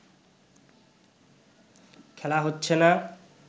খেলা হচ্ছে না